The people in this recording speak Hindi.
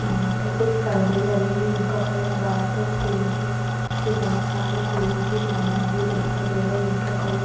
यहाँ पे कुछ परदे लगे हुए जिनका कलर वाइट और पिंक है और पे बहुत सारे फूलो की मालाएं भी दिखाई दे रही जिनका कलर --